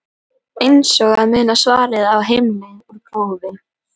Eins og að muna svarið á heimleið úr prófi?